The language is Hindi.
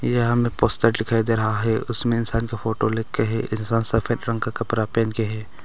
यह हमे पोस्टर दिखाई दे रहा है उसमें इंसान का फोटो लग के हैं इंसान सफेद रंग का कपरा पहन के है।